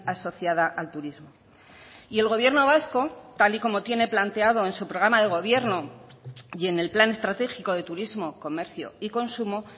asociada al turismo y el gobierno vasco tal y como tiene planteado en su programa de gobierno y en el plan estratégico de turismo comercio y consumo